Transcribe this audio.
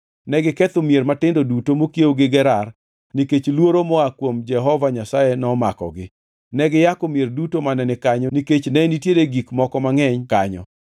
Negiketho mier matindo duto mokiewo gi Gerar nikech luoro moa kuom Jehova Nyasaye nomakogi. Ne giyako mier duto mane ni kanyo nikech ne nitiere gik moko mangʼeny kanyo.